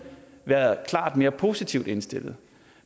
været klart mere positivt indstillet